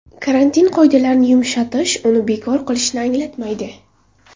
Karantin qoidalarini yumshatish uni bekor qilishni anglatmaydi.